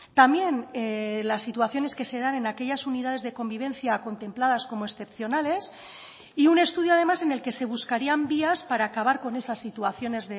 también las situaciones que se dan en aquellas unidades de convivencia contempladas como excepcionales y un estudio además en el que se buscarían vías para acabar con esas situaciones